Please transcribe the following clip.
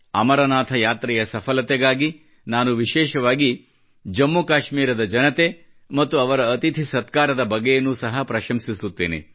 ಅಮರನಾಥ ಯಾತ್ರೆಯ ಸಫಲತೆಗಾಗಿ ನಾನು ವಿಶೇಷವಾಗಿ ಜಮ್ಮುಕಾಶ್ಮೀರದ ಜನತೆ ಮತ್ತು ಅವರ ಅತಿಥಿ ಸತ್ಕಾರದ ಬಗೆಯನ್ನು ಸಹ ಪ್ರಶಂಸಿಸುತ್ತೇನೆ